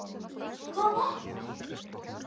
Hvað vantar?